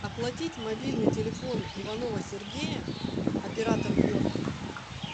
оплатить мобильный телефон иванова сергея оператор йота